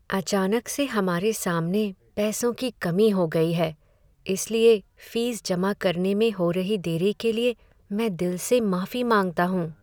अचानक से हमारे सामने पैसों की कमी हो गई है, इसलिए फीस जमा करने में हो रही देरी के लिए मैं दिल से माफी मांगता हूँ।